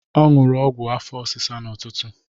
Ọ ṅụrụ ọgwụ afọ ọsịsa n'ụtụtụ.